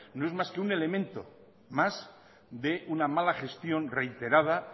no es más que un elemento más de una mala gestión reiterada